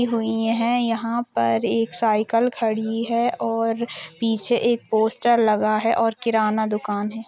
--हुई है यहाँ पर एक साईकल खड़ी है और पीछे एक पोस्टर लगा है और किराना दुकान है।